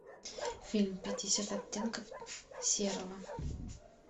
фильм пятьдесят оттенков серого